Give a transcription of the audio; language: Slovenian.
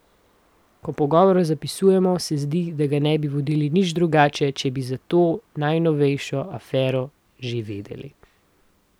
Ko pogovor zapisujemo, se zdi, da ga ne bi vodili nič drugače, če bi za to najnovejšo afero že vedeli.